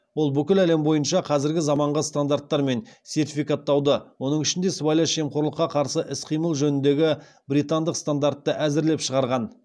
ол бүкіл әлем бойынша қазіргі заманғы стандарттар мен сертификаттауды оның ішінде сыбайлас жемқорлыққа қарсы іс қимыл жөніндегі британдық стандартты әзірлеп шығарған